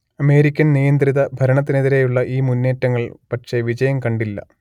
അമേരിക്കൻനിയന്ത്രിത ഭരണത്തിനെതിരെയുള്ള ഈ മുന്നേറ്റങ്ങൾ പക്ഷേ വിജയം കണ്ടില്ല